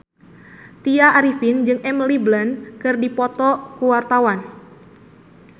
Tya Arifin jeung Emily Blunt keur dipoto ku wartawan